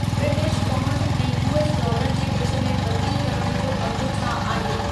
British pound ऐं U. S. Dollar जे विच में बदिली करण जो अघु छा आहे